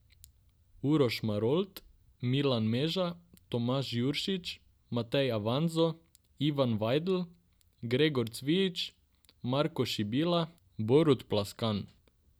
Uroš Marolt, Milan Meža, Tomaž Juršič, Matej Avanzo, Ivan Vajdl, Gregor Cvijič, Marko Šibila, Borut Plaskan.